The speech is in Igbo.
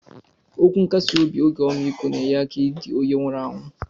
Okwu nkasi obi oge omikọ na enye aka idi onye nwuru anwụ.